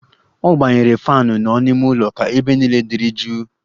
Ọ gbanyere faanụ nọ n'ime ụlọ ka ebe niile dịrị jụụ